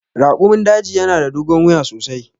Raƙumin daji yana da dogon wuya sosai.